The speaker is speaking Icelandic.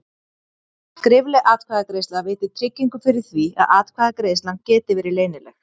Skrifleg atkvæðagreiðsla veitir tryggingu fyrir því að atkvæðagreiðslan geti verið leynileg.